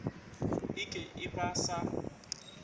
e ke e ba sa